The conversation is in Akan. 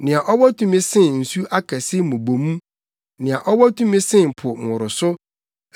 Nea ɔwɔ tumi sen nsu akɛse mmubomu, nea ɔwɔ tumi sen po nworoso, Awurade a ɔte ɔsoro no yɛ ɔkɛse.